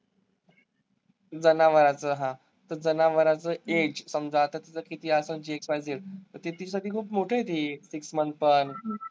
जनावराचं हा, तर जनावराचं age समजा, आता तीचं किती असंल xyz तर ते तिच्यासाठी खूप मोठं आहे ते. six month पण